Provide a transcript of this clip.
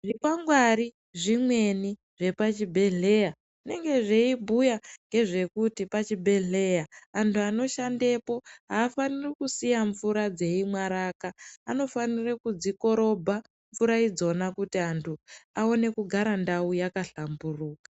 Zvikwangwari zvimweni zvepachibhedhleya zvinenge zveibhuya ngezvekuti pachibhedhleya antu anoshandepo afaniri kusiya mvura dzeimwaraka anofanire kudzikorobha mvura idzona kuti antu aone kugara ndau yakahlamburuka.